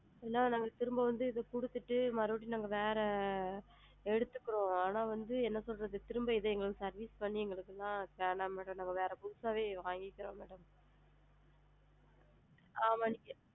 ஏன்னா நாங்க திரும்ப வந்து இத குடுத்திட்டு மறுபடியும் நாங்க வேற எடுத்துக்குரோம் ஆனா வந்து என்ன சொல்றது திரும்ப இத service பண்ணி எங்களுக்கு வேண்டாம் ma'am நாங்க அதுக்கு புதுசாவே வாங்கிக்கிறோம் ஆ வந்து